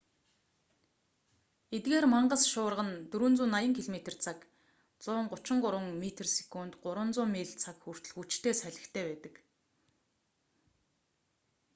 эдгээр мангас шуурга нь 480 км/цаг 133 м/сек; 300 миль/цаг хүртэл хүчтэй салхитай байдаг